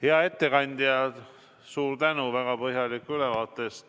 Hea ettekandja, suur tänu väga põhjaliku ülevaate eest!